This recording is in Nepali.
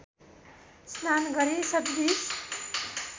स्नान गरी शतबीज